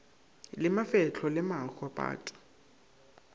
le mafehlo le maho pato